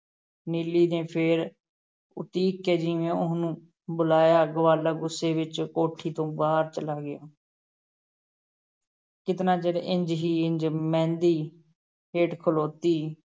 ਨੀਲੀ ਨੇ ਫੇਰ ਉੜੀਕ ਕੇ ਜਿਵੇਂ ਉਹਨੂੰ ਬੁਲਾਇਆ, ਗਵਾਲਾ ਗੁੱਸੇ ਵਿੱਚ ਕੋਠੀ ਤੋਂ ਬਾਹਰ ਚਲਾ ਗਿਆ ਕਿਤਨਾ ਚਿਰ ਇੰਞ ਹੀ ਇੰਞ ਮਹਿੰਦੀ ਹੇਠ ਖਲੋਤੀ,